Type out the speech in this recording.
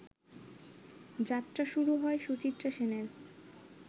যাত্রা শুরু হয় সুচিত্রা সেনের